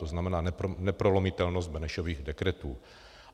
To znamená, neprolomitelnost Benešových dekretů.